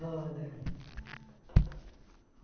Roda. Hum